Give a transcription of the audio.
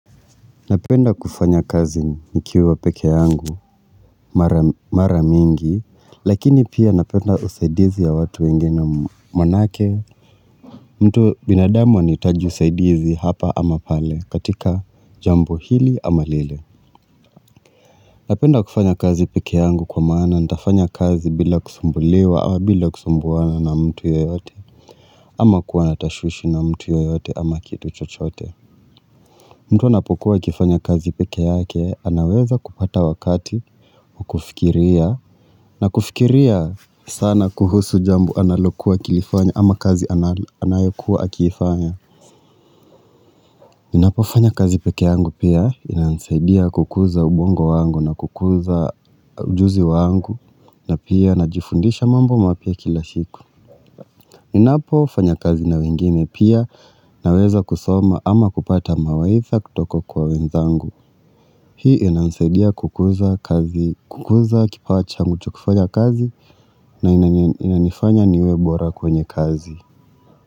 Napenda kufanya kazi nikiwa peke yangu mara mingi Lakini pia napenda usaidizi ya watu wengine maanake mtu binadamu anahitaju usaidizi hapa ama pale katika jambo hili ama lile Napenda kufanya kazi peke yangu kwa mmana nitafanya kazi bila kusumbuliwa ama bila kusumbuana na mtu yeyote ama kuwa na tashwishi na mtu yeyote ama kitu chochote mtu anapokuwa akifanya kazi peke yake, anaweza kupata wakati, kufikiria, na kufikiria sana kuhusu jambo analokuwa akilifanya ama kazi anayokuwa akifanya. Ninapo fanya kazi pekkee yangu pia, inansaidia kukuza ubongo wangu na kukuza ujuzi wangu, na pia najifundisha mambo mapya kila shiku. Ninapo fanya kazi na wengine pia, naweza kusoma ama kupata mawaidha kutoka kwa wenzangu. Hii inanisaidia kukuza kazi kukuza kipawa changu cha kufanya kazi na inanifanya niwe bora kwenye kazi.